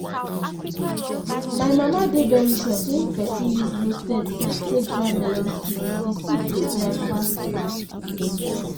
my mama dey very sure say if pesin use roasted sand take dry melon seed di seed go dry fast fast.